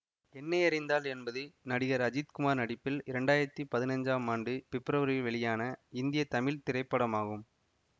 என்னை அறிந்தால் என்பது நடிகர் அஜித் குமார் நடிப்பில் இரண்டாயிரத்தி பதினஞ்சாம் ஆண்டு பிப்ரவரியில் வெளியான இந்திய தமிழ் திரைப்படமாகும்